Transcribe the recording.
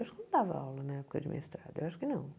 Eu acho que não dava aula na época de mestrado, eu acho que não.